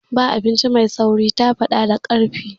Ba abinci mai sauri”, ta faɗa da ƙarfi.